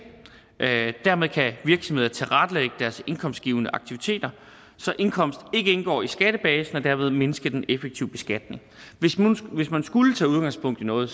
dermed kan virksomheder tilrettelægge deres indkomstgivende aktiviteter så indkomst ikke indgår i skattebasen og derved mindsker de en effektiv beskatning hvis man skulle tage udgangspunkt i noget